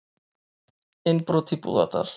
Innbrot í Búðardal